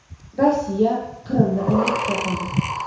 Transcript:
Rossiya Qrimni anneksiya qildi.